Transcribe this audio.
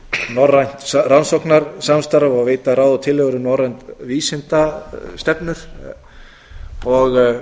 norrænt rannsóknasamstarf og veita ráð og tillögur um norrænar vísindastefnur menn höfðu